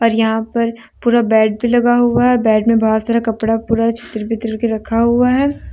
और यहां पर पूरा बेड भी लगा हुआ है बेड में बहुत सारा कपड़ा पूरा छीतर- बितर के रखा हुआ है।